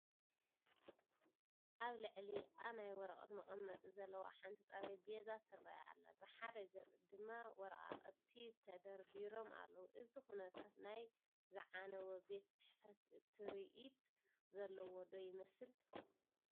ኣብ ልዕሊኣ ናይ ወረቐት መቐመጢ ዘለዋ ሓንቲ ጠረጴዛ ትርአ ኣላ፡ ብሓደ ገፅ ድማ ወረቓቕቲ ተደርዲሮም ኣለዉ፡፡ እዚ ኩነታት ናይ ዝዓነወ ቤት ፅሕፈት ትርኢት ዘለዎ ዶ ይመስል?